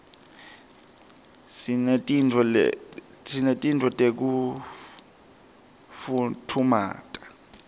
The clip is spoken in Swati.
sinetinto tekufutfumata